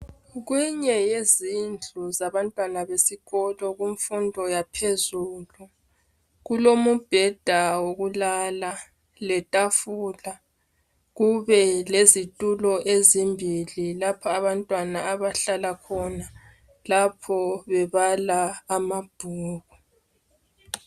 Kukweyinye yezindlu zabantwana besikolo kumfundo yaphezulu. Kulomubheda wokulala letafula. Kube lezitulo ezimbili lapho abantwana abahlala khona lapho bebala amabhuku.